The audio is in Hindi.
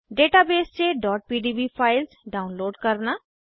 डेटाबेस से pdb फाइल्स डाउनलोड करना